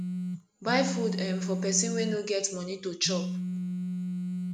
buy food um for pesin wey no get moni to chop